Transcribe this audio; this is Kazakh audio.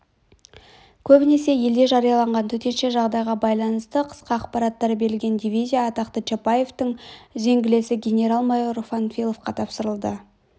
көбінесе елде жарияланған төтенше жағдайға байланысты қысқа ақпараттар берілген дивизия атақты чапаевтың үзеңгілесі генерал-майор панфиловқа тапсырылды